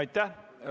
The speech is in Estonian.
Aitäh!